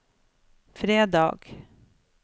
fredag